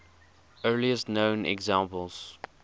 earliest known examples